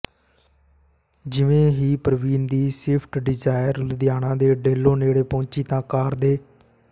ਜਿਵੇਂ ਹੀ ਪਰਵੀਨ ਦੀ ਸਵਿਫਟ ਡੀਜ਼ਾਇਰ ਲੁਧਿਆਣਾ ਦੇ ਡੇਲੋਂ ਨੇੜੇ ਪਹੁੰਚੀ ਤਾਂ ਕਾਰ ਦੇ